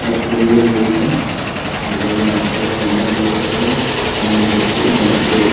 एता प्रे होय छै लोग यहाँ पर कैंडल लेवे छै मोमबत्ती यहाँ पे --